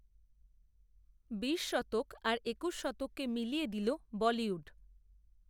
বিশ শতক, আর একূশ শতককে মিলিয়ে দিল, বলিউড